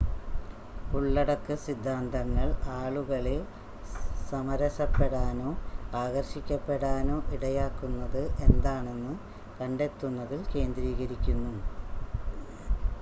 ഉള്ളടക്ക സിദ്ധാന്തങ്ങൾ ആളുകളെ സമരസപ്പെടാനോ ആകർഷിക്കപ്പെടാനോ ഇടയാക്കുന്നത് എന്താണെന്ന് കണ്ടെത്തുന്നതിൽ കേന്ദ്രീകരിക്കുന്നു